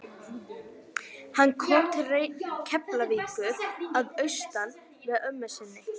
Hann kom til Keflavíkur að austan með ömmu sinni.